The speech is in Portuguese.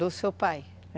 Do seu pai? é.